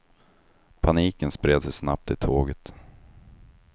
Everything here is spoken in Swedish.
Paniken spred sig snabbt i tåget.